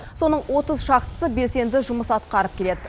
соның отыз шақтысы белсенді жұмыс атқарып келеді